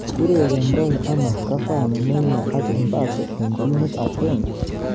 Urerendai ano Cavani, Neymar ak Mbappe eng timit agenge